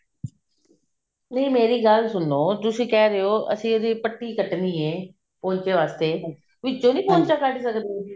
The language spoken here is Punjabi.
ਨਹੀਂ ਮੇਰੀ ਗੱਲ ਸੁਨੋ ਤੁਸੀਂ ਕਿਹ ਰਹੇ ਹੋ ਅਸੀਂ ਇਹਦੀ ਪੱਟੀ ਕੱਟਣੀ ਹੈ ਪੌਂਚੇ ਵਾਸਤੇ ਵਿੱਚੋਂ ਨੀ ਪੌਂਚਾ ਕੱਡ ਸਕਦੇ ਤੁਸੀਂ